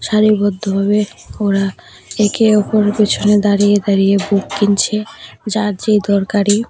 সারিবদ্ধভাবে ওরা একে অপরের পেছনে দাঁড়িয়ে দাঁড়িয়ে ভোগ কিনছে যার যে দরকারি।